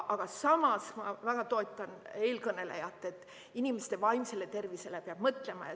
Aga samas ma väga toetan eelkõnelejat, et ka inimeste vaimsele tervisele peab mõtlema.